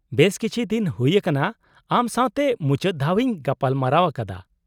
-ᱵᱮᱥ ᱠᱤᱪᱷᱤ ᱫᱤᱱ ᱦᱩᱭ ᱟᱠᱟᱱᱟ ᱟᱢ ᱥᱟᱶᱛᱮ ᱢᱩᱪᱟᱹᱫ ᱫᱷᱟᱣ ᱤᱧ ᱜᱟᱞᱢᱟᱨᱟᱣᱼᱟᱠᱟᱫᱟ ᱾